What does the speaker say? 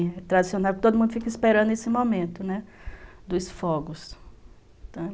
E é tradicional, porque todo mundo fica esperando esse momento, né, dos fogos.